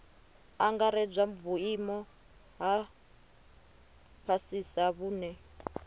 angaredzwa vhuimo ha fhasisa vhune